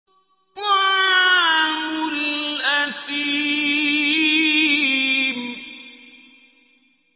طَعَامُ الْأَثِيمِ